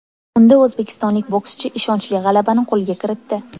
Unda o‘zbekistonlik bokschi ishonchli g‘alabani qo‘lga kiritdi.